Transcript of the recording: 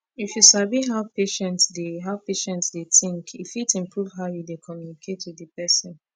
if you sabi how patient dey how patient dey take think e fit improve how you dey communicate with the person